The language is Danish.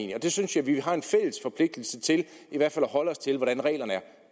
jeg synes vi har en fælles forpligtelse til i hvert fald at holde os til hvordan reglerne er